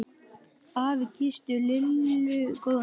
Afi kyssti Lillu góða nótt.